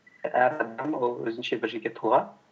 әр адам ол өзінше бір жеке тұлға